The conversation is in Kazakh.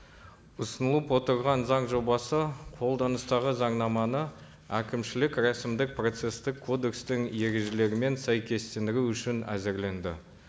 ұсынылып отырған заң жобасы қолданыстағы заңнаманы әкімшілік рәсімдік процесстік кодекстің ережелерімен сәйкестендіру үшін әзірленді